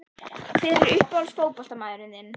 Hver er uppáhalds fótboltamaðurinn þinn?